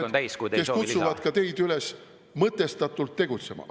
Me oleme mõistusega inimesed, kes kutsuvad ka teid üles mõtestatult tegutsema.